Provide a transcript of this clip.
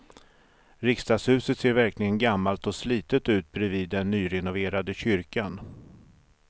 Riksdagshuset ser verkligen gammalt och slitet ut bredvid den nyrenoverade kyrkan.